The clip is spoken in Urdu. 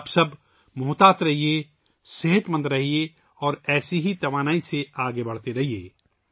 آپ سب چوکس رہیں، صحت مند رہیں اور ایسی ہی توانائی کے ساتھ آگے بڑھتے رہیں